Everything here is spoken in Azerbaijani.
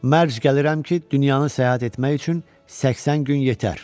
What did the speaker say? Mərc gəlirəm ki, dünyanın səyahət etmək üçün 80 gün yetər.